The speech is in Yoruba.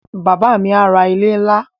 Bàbá à mí ra ilẹ̀ ńlá